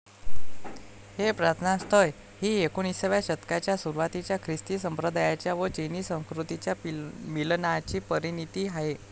हे प्रार्थनास्थळ हि एकोणिसाव्या शतकाच्या सुरवातीच्या ख्रिस्ती संप्रदायाच्या व चिनी संस्कृतीच्या मिलनाची परिणीती आहे.